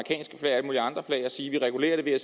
sige at vi regulerer det ved at